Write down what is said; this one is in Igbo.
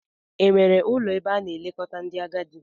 Enwere ụlọ ebe a na-elekọta ndị agadi?